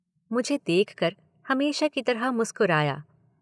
मुझे देखकर हमेशा की तरह मुस्कराया।